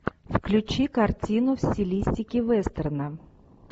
включи картину в стилистике вестерна